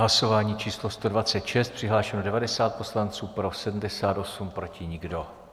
Hlasování číslo 126, přihlášeno 90 poslanců, pro 78, proti nikdo.